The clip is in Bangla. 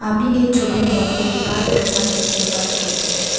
আমি এ ছবির মধ্যে বাইক ডোকান দেখতে পাচ্ছি ।